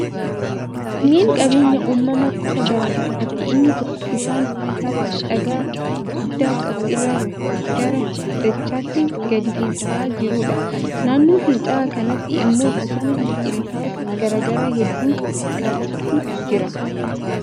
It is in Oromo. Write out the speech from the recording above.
Kunneen qabeenya uumamaa gosa garaa garaati. Inni tokko bishaan tabba dhagaa guguddaa qabu irraa gara dachaatti gadi finca'aa jiruudha. Naannoo finca'aa kanaatti immoo bosona biqiltoota garaa garaa hedduu qabutu jira.